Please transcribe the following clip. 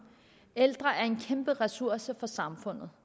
at ældre er en kæmpe ressource for samfundet